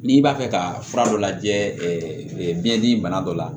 N'i b'a fɛ ka fura dɔ lajɛ biyɛn dimi bana dɔ la